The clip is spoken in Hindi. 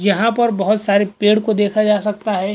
यहाँ पर बहुत सारे पेड़ को देखा जा सकता है।